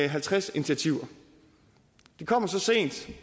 halvtreds initiativer det kommer så sent